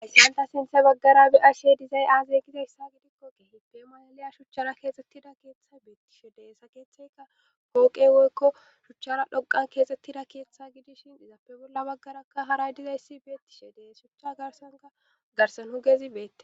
aissanta sinthe baggara bi ashe dizay aazegizayssa gidikkokkehi pe malaliya shuchchara keesettida keeththa beetti shedeessa keeththayka hooqe woykko shuchchara dhoqan keesettida keeththa gidishin dizappe bolla baggaraka haray dizayssi beetti she dees shucha garsanka garsanhu gezi beette